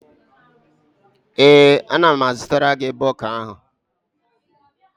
Ee, ana m azụtara gi bọga ahụ.